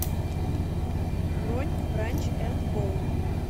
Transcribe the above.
бронь бранч энд боул